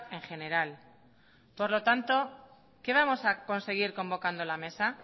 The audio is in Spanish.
en general por lo tanto qué vamos a conseguir convocando la mesa